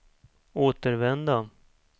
återvända